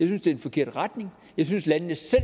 det er den forkerte retning jeg synes landene selv